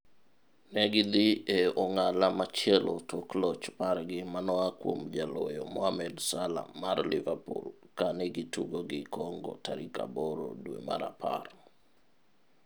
negi dhi e ong'ala machielo tok loch margi manoa kuom jaloyo Mohamed Salah mar Liverpool kane gi tugo gi Congo tarik 8 dwe mar apar.